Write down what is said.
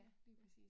Ja, lige præcis